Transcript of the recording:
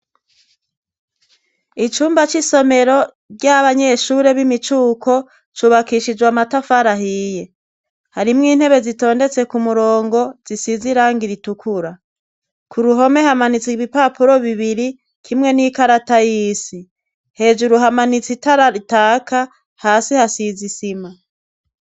Icumba c'isomero ry'abanyeshure b'imicuko cubakishijwe amatafarahiye harimwo intebe zitondetse ku murongo zisizirang iritukura ku ruhome hamanitswe ibipapuro bibiri kimwe n'ikarata y''isi hejuru hamanitsa itarataka ha asi hasizisima.